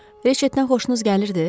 Reçetdən xoşunuz gəlirdi?